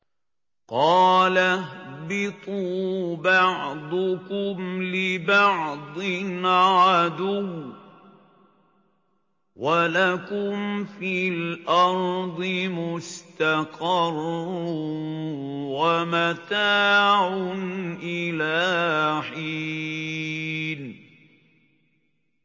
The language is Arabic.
قَالَ اهْبِطُوا بَعْضُكُمْ لِبَعْضٍ عَدُوٌّ ۖ وَلَكُمْ فِي الْأَرْضِ مُسْتَقَرٌّ وَمَتَاعٌ إِلَىٰ حِينٍ